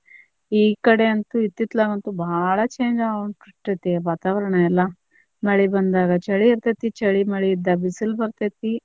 ಈ ಕಡೆ ಅಂತು ಇತ್ತಿತ್ಲ್ಯಾಗ ಅಂತು ಬಾಳ change ಆಗಾಕತ್ತೈತಿ ವಾತಾವರಣ ಎಲ್ಲಾ, ಮಳಿ ಬಂದಾಗ ಚಳಿ ಇರ್ತೇತಿ ಚಳಿ ಮಳಿ ಇದ್ದಾಗ ಬಿಸಿಲ ಬರ್ತೇತಿ.